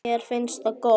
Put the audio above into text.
Mér finnst það gott.